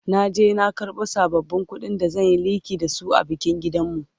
na je na karbo sabbabin ƙuɗin da zan Yi liƙi da su a bikin gidanmu